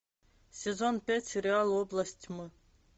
сезон пять сериал область тьмы